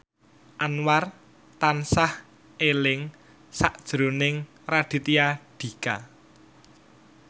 Anwar tansah eling sakjroning Raditya Dika